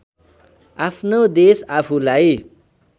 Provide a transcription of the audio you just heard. आफ्नो देश आफूलाई